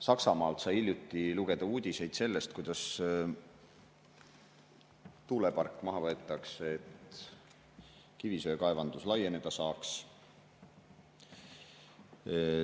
Saksamaalt sai hiljuti lugeda uudiseid selle kohta, kuidas võetakse maha tuulepark, et kivisöekaevandus laieneda saaks.